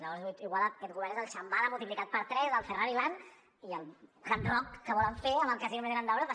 llavors igual aquest govern és el shambhala multiplicat per tres el ferrari land i el hard rock que volen fer amb el casino més gran d’europa